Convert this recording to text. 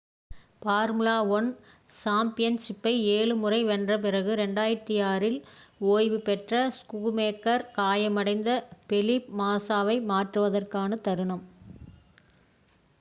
formula 1 சாம்பியன்ஷிப்பை ஏழு முறை வென்ற பிறகு 2006 இல் ஓய்வு பெற்ற ஸ்கூமேக்கர் காயமடைந்த ஃபெலிப் மாஸாவை மாற்றுவதற்கான தருணம்